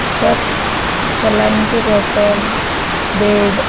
सब सलाइन के बोतल बेड।